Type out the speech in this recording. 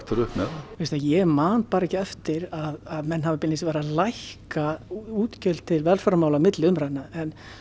upp með veistu ég man bara ekki eftir að menn hafi beinlínis verið að lækka útgjöld til velferðarmála milli umræðna en